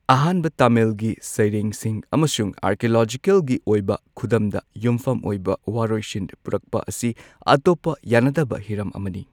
ꯑꯍꯥꯟꯕ ꯇꯥꯃꯤꯜꯒꯤ ꯁꯩꯔꯦꯡꯁꯤꯡ ꯑꯃꯁꯨꯡ ꯑꯥꯔꯀꯤꯑꯣꯂꯣꯖꯤꯀꯦꯜꯒꯤ ꯑꯣꯏꯕ ꯈꯨꯗꯝꯗ ꯌꯨꯝꯐꯝ ꯑꯣꯏꯕ ꯋꯥꯔꯣꯏꯁꯤꯟ ꯄꯨꯔꯛꯄ ꯑꯁꯤ ꯑꯇꯣꯞꯄ ꯌꯥꯅꯗꯕ ꯍꯤꯔꯝ ꯑꯃꯅꯤ꯫